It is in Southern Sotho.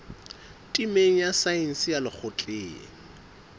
temeng ya saense ya lekgotleng